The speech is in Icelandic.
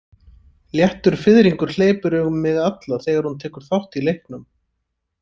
Léttur fiðringur hleypur um mig alla þegar hún tekur þátt í leiknum.